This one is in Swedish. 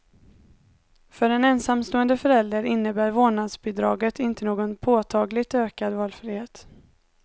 För ensamstående föräldrar innebär vårdnadsbidraget inte någon påtagligt ökad valfrihet.